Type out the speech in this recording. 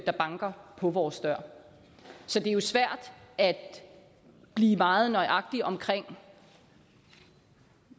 der banker på vores dør så det er jo svært at blive meget nøjagtig omkring